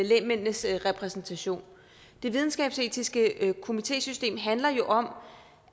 lægmændenes repræsentation det videnskabsetiske komitésystem handler jo om